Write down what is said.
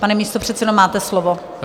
Pane místopředsedo, máte slovo.